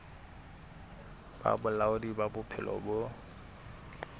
ba bolaodi ba bophelo bo